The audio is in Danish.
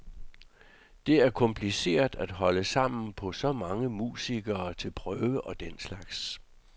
Det er kompliceret at holde sammen på så mange musikere til prøver og den slags.